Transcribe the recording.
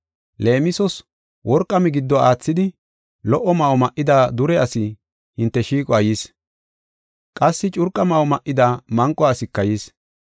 Leemisos, worqa migiddo aathidi, lo77o ma7o ma7ida dure asi hinte shiiquwa yis. Qassi curqa ma7o ma7ida manqo asika yis.